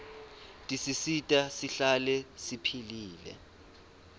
tisisita sihlale siphilile